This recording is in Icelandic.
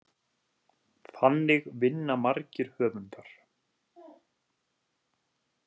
Þannig vinna margir höfundar.